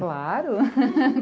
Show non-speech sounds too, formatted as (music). Claro! (laughs)